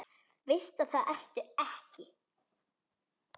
Veist að það ertu ekki.